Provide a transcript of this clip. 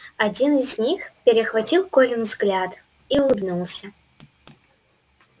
один из них перехватил колин взгляд и улыбнулся